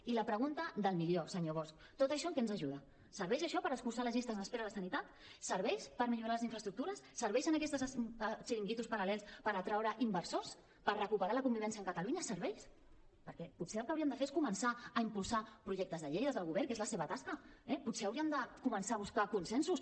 i la pregunta del milió senyor bosch tot això en què ens ajuda serveix això per escurçar les llistes d’espera a la sanitat serveix per millorar les infraestructures serveixen aquests xiringuitos paral·lels per atraure inversors per recuperar la convivència a catalunya serveix perquè potser el que haurien de fer és començar a impulsar projectes de llei des del govern que és la seva tasca eh potser haurien de començar a buscar consensos